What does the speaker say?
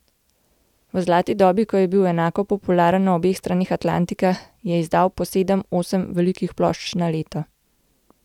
V zlati dobi, ko je bil enako popularen na obeh straneh Atlantika, je izdal po sedem, osem velikih plošč na leto.